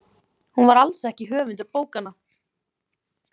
Hún var alls ekki höfundur bókanna.